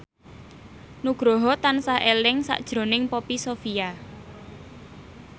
Nugroho tansah eling sakjroning Poppy Sovia